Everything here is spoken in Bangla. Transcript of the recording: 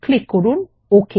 ক্লিক করুন ওক